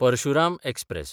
Parshuram express